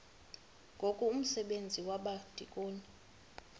ngoku umsebenzi wabadikoni